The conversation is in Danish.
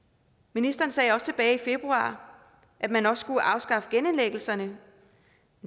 ministeren sagde også tilbage i februar at man også skulle afskaffe genindlæggelserne